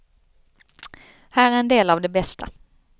Här är en del av det bästa.